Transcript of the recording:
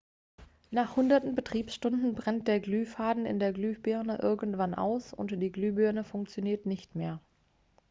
nach hunderten betriebsstunden brennt der glühfaden in der glühbirne irgendwann aus und die glühbirne funktioniert nicht mehr